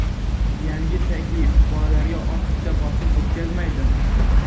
Yangi taklif bolalarga ortiqcha bosim o‘tkazmaydimi?